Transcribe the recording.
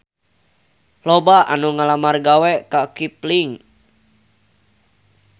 Loba anu ngalamar gawe ka Kipling